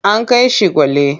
An kai shi Gwale.